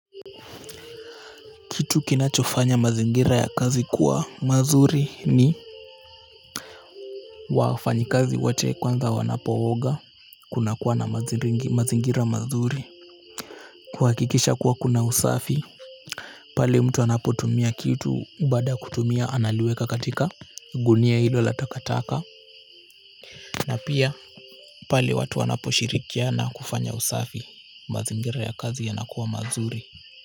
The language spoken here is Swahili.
Kitu kinachofanya mazingira ya kazi kuwa mazuri ni wafanyi kazi wote kwanza wanapo oga kuna kuwa na mazingira mazuri kuhakikisha kuwa kuna usafi pale mtu anapo tumia kitu baada ya kutumia analiweka katika gunia hilo la takataka na pia pale watu wanaposhirikiana kufanya usafi mazingira ya kazi yanakuwa mazuri kwa hivyo.